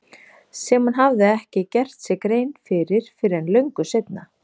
Sem hún hafði ekki gert sér grein fyrir fyrr en löngu seinna.